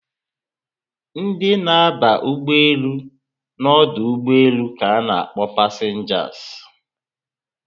Ndị na aba ụgbọelu na ọdụ ụgbọelu ka na akpọ passengers